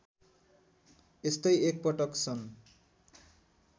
यस्तै एकपटक सन्